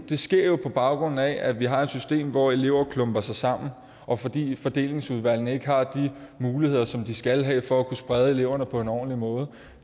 det sker jo på baggrund af at vi har et system hvor elever klumper sig sammen og fordi fordelingsudvalgene ikke har de muligheder som de skal have for at kunne sprede eleverne på en ordentlig måde